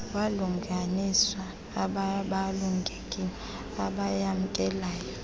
wabalinganiswa abaabalulekileyo abayamkelayo